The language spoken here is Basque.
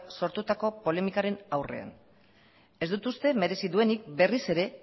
sortutako polemikaren aurrean ez dut uste merezi duenik berriz ere